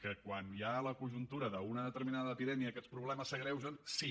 que quan la conjuntura d’una determinada epidèmia aquests problemes s’agreugen sí